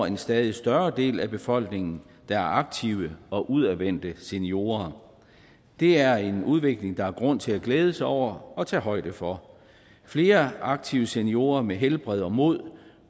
at en stadig større andel af befolkningen er aktive og udadvendte seniorer det er en udvikling der er grund til at glæde sig over og tage højde for flere aktive seniorer med godt helbred og mod